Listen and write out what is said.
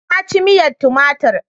Na ci miyar tumatir.